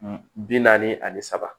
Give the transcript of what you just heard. Bi naani ani saba